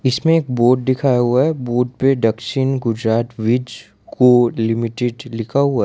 इसमें एक बोर्ड दिखाया हुआ है बोर्ड पे दक्षिण गुजरात विज को लिमिटेड लिखा हुआ --